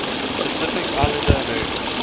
pacific islander americans